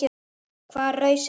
Hvaða raus er þetta?